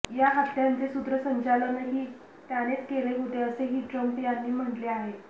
या हत्यांचे सूत्रसंचलनही त्यानेच केले होते असेही ट्रम्प यांनी म्हटले आहे